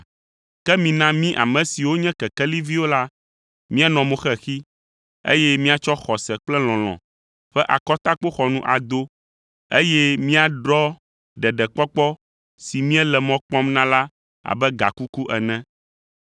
Ke mina mí ame siwo nye kekeliviwo la, míanɔ mo xexi, eye míatsɔ xɔse kple lɔlɔ̃ ƒe akɔtakpoxɔnu ado, eye míaɖɔ ɖeɖekpɔkpɔ si míele mɔ kpɔm na la abe gakuku ene.